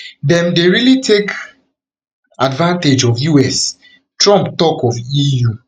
dem dey really take advantage of us trump tok of eu